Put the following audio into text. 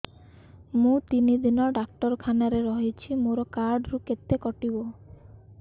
ମୁଁ ତିନି ଦିନ ଡାକ୍ତର ଖାନାରେ ରହିଛି ମୋର କାର୍ଡ ରୁ କେତେ କଟିବ